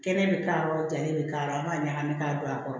Kɛnɛ bɛ k'a jalen bɛ k'a aw b'a ɲagami k'a don a kɔrɔ